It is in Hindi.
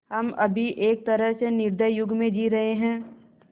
हम अभी एक तरह से निर्दयी युग में जी रहे हैं